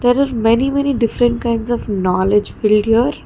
there are many many different kinds of knowledge filled here.